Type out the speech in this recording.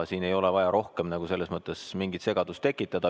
Siin ei ole vaja rohkem selles mõttes mingit segadust tekitada.